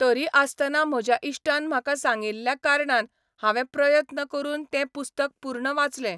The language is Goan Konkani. तरी आसतना म्हज्या इश्टान म्हाका सांगिल्ल्या कारणान हांवें प्रयत्न करून तें पुस्तक पूर्ण वाचलें.